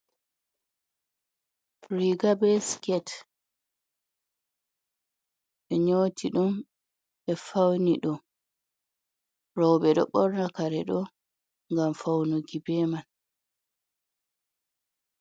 Riiga be sket, ɓe nyooti ɗum, ɓe fawni ɗum, rowɓe ɗo ɓorna kare ɗo ngam fawnuki be man.